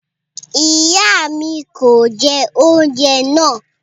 Iya mi kò jẹ oúnjẹ naa